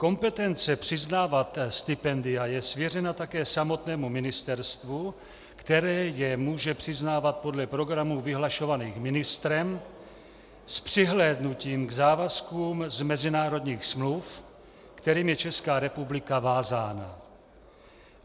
Kompetence přiznávat stipendia je svěřena také samotnému ministerstvu, které je může přiznávat podle programů vyhlašovaných ministrem s přihlédnutím k závazkům z mezinárodních smluv, kterými je Česká republika vázána.